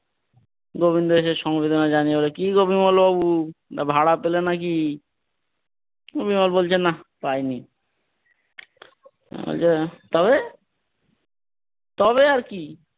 গোবিন্দ এসে সমবেদনা জানিয়ে বলে, কিগো বিমল বাবু ভাড়া পেলে নাকি? উনি আবার বলছে না পাইনি আজ আর, তবে? তবে আর কি।